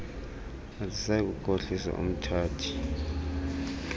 alisayi kukhohlisa umthathi